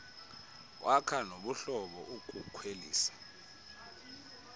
kwakha nobuhlobo ukukhwelisa